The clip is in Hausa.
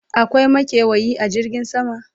akwai makewayi a jirgin sama?